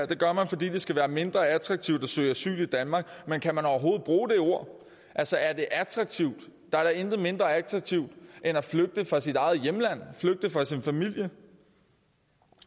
det gør man fordi det skal være mindre attraktivt at søge asyl i danmark men kan man overhovedet bruge det ord altså er det attraktivt der er da intet mindre attraktivt end at flygte fra sit eget hjemland flygte fra sin familie